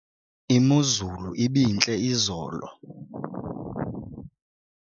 imozulu ibintle izolo